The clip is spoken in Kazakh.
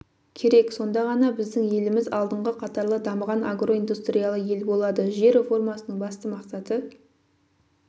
керек сонда ғана біздің еліміз алдыңғы қатарлы дамыған агроиндустриялы ел болады жер реформасының басты мақсаты